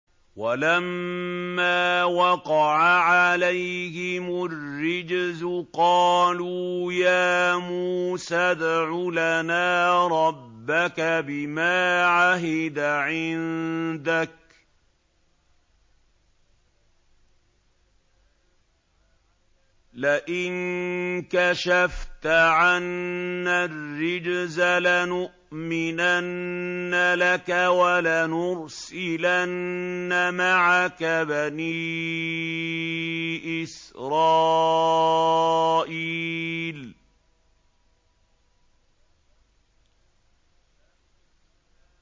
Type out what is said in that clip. وَلَمَّا وَقَعَ عَلَيْهِمُ الرِّجْزُ قَالُوا يَا مُوسَى ادْعُ لَنَا رَبَّكَ بِمَا عَهِدَ عِندَكَ ۖ لَئِن كَشَفْتَ عَنَّا الرِّجْزَ لَنُؤْمِنَنَّ لَكَ وَلَنُرْسِلَنَّ مَعَكَ بَنِي إِسْرَائِيلَ